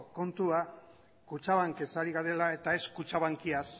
kontua kutxabankez ari garela eta ez kutxabankiaz